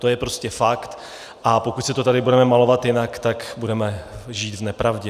To je prostě fakt, a pokud si to tady budeme malovat jinak, tak budeme žít v nepravdě.